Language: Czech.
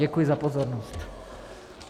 Děkuji za pozornost.